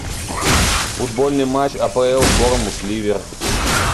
футбольный матч апл борнмут ливер